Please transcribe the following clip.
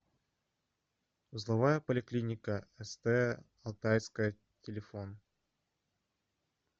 узловая поликлиника ст алтайская телефон